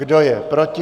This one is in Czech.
Kdo je proti?